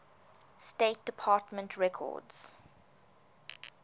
state department records